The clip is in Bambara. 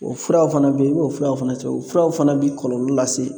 O furaw fana bɛ yen i b'o furaw fana cɛ o furaw fana bɛ kɔlɔlɔ lase